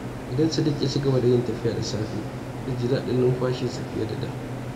Idan Sadiq ya ci gaba da yin tafiya da safe, zai ji daɗin numfashinsa fiye da da.